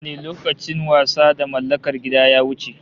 Haka ne, lokacin wasa da mallakar gida ya wuce